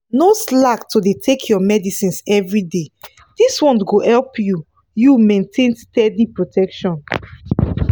no slack to dey take your medicines everyday this one go help you you maintain steady protection.